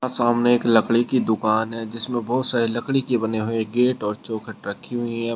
सामने एक लकड़ी की दुकान है जिसमें बहोत सारे लकड़ी की बने हुए गेट और चौखट रखी हुई है।